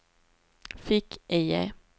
fick-IE